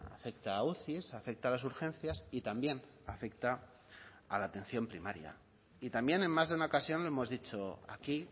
afecta a uci afecta a las urgencias y también afecta a la atención primaria y también en más de una ocasión lo hemos dicho aquí